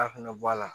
A fɛnɛ bɔ a la